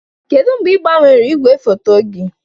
Kedu mgbe ị gbanwere igwefoto gị?